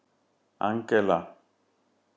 Angela